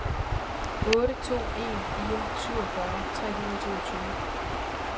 otte to en fire syvogfyrre tre hundrede og toogtyve